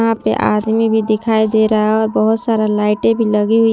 यहां पे आदमी भी दिखाई दे रहा है और बहोत सारा लाइटें भी लगी हुई।